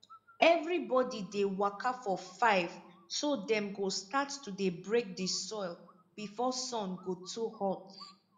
evribodi dey wake for five so dem go start to dey break di soil before sun go too hot